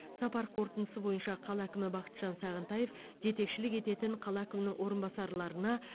сапар қорытындысы бойынша қала әкімі бахытжан сағынтаев жетекшілік ететін қала әкімінің орынбасарларына